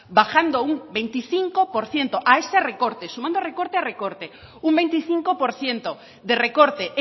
bajando un veinticinco por ciento a ese recorte sumando recorte a recorte un veinticinco por ciento de recorte